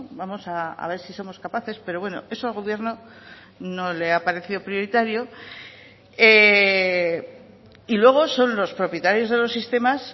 vamos a ver si somos capaces pero bueno eso al gobierno no le ha parecido prioritario y luego son los propietarios de los sistemas